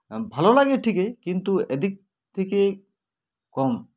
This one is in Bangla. ভালো লাগে ঠিকই কিন্তু এদিক থেকে কম